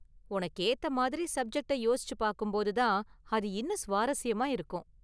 உனக்கு ஏத்த மாதிரி சப்ஜெக்டை யோசிச்சு பார்க்கும்போது தான் அது இன்னும் சுவாரஸ்யமா இருக்கும்.